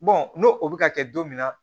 n'o o bɛ ka kɛ don min na